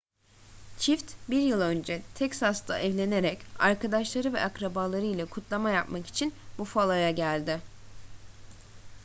çift bir yıl önce texas'ta evlenerek arkadaşları ve akrabalarıyla kutlama yapmak için buffalo'ya geldi